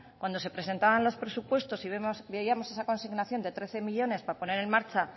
cuando se presentaban los presupuestos y veíamos esa consignación de trece millónes para poner en marcha